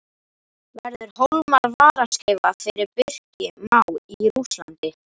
Verður Hólmar varaskeifa fyrir Birki Má í Rússlandi?